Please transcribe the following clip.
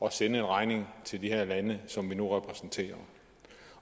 at sende en regning til de her lande som vi nu repræsenterer